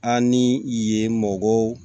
An ni yen mɔgɔw